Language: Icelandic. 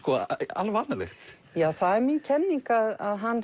alvanalegt já það er mín kenning að hann